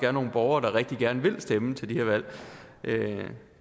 er nogle borgere der rigtig gerne vil stemme til de her valg